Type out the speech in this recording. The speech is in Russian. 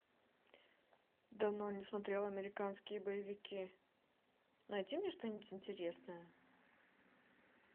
давно не смотрела американские боевики найди мне что нибудь интересное